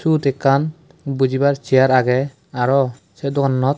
swot ekan bojibar chare aagay arow say dogananot.